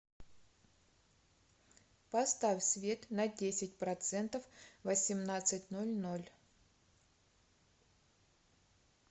поставь свет на десять процентов в восемнадцать ноль ноль